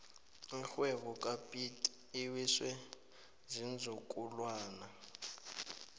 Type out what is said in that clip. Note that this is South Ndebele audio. irhwebo kapiet iwiswe ziinzukulwana